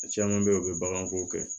Caman bɛ yen u bɛ baganko kɛ